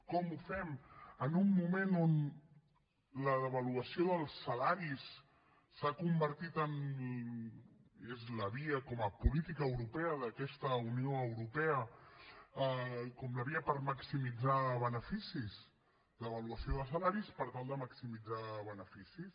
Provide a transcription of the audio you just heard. com ho fem en un moment on la devaluació dels salaris s’ha convertit com a política europea d’aquesta unió europea en la via per maximitzar beneficis devaluació de salaris per tal de maximitzar beneficis